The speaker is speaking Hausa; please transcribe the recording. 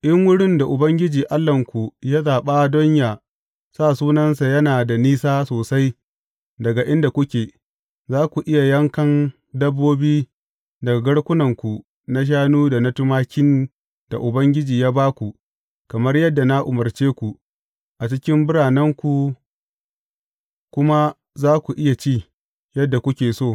In wurin da Ubangiji Allahnku ya zaɓa don yă sa Sunansa yana da nisa sosai daga inda kuke, za ku iya yankan dabbobi daga garkunanku na shanu da na tumakin da Ubangiji ya ba ku, kamar yadda na umarce ku, a cikin biranenku kuma za ku iya ci, yadda kuke so.